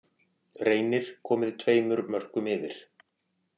Reynir komið tveimur mörkum yfir.